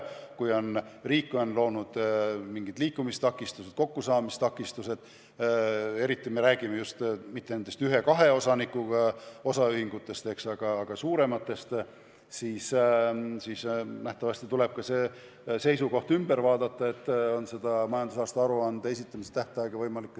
Kui riik on loonud liikumistakistused, kokkusaamistakistused – ma ei pea silmas mitte ühe-kahe osanikuga osaühinguid, vaid suuremaid –, siis nähtavasti tuleb seda seisukohta muuta ja majandusaasta aruande esitamise tähtaega pikendada.